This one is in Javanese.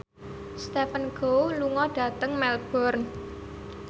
Stephen Chow lunga dhateng Melbourne